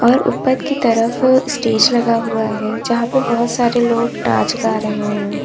और ऊपर की तरफ स्टेज लगा हुआ है जहां पे बहोत सारे लोग नाच गा रहे हैं।